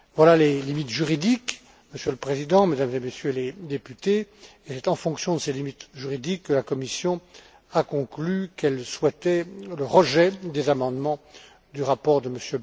Telles sont les limites juridiques, Monsieur le Président, Mesdames et Messieurs les députés, et c'est en fonction de ces limites juridiques que la Commission a conclu qu'elle souhaitait le rejet des amendements du rapport de M.